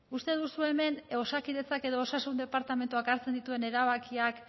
uste duzue hemen osakidetzak edo osasun departamentuak hartzen dituen erabakiak